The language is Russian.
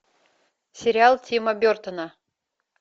сериал тима бертона